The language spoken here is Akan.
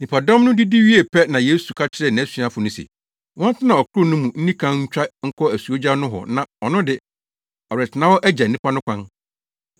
Nnipadɔm no didi wiee pɛ na Yesu ka kyerɛɛ nʼasuafo no se, wɔntena ɔkorow no mu nni kan ntwa nkɔ asuogya nohɔ na ɔno de, ɔretena hɔ agya nnipa no kwan.